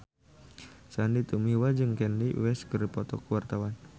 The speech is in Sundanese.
Sandy Tumiwa jeung Kanye West keur dipoto ku wartawan